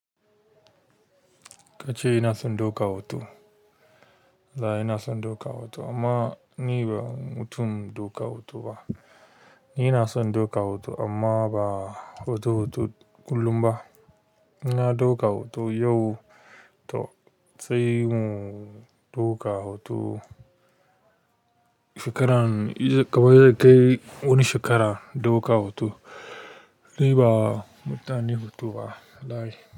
Kace inson ɗaukar hoto banason ɗaukar hoto amma ni ba mutum ba hoto hoto kullum ba inna ɗauka hoto yau to sai in ɗauka hoto shekarar kamar wani shekara ɗaukar hoto mutane huto ba, da.